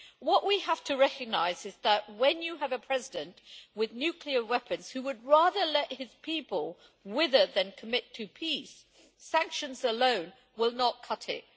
What we have to recognise is that, when you have a president with nuclear weapons who would rather let his people wither than commit to peace, sanctions alone will not cut it.